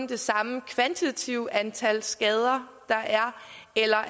det samme kvantitativt antal skader der er eller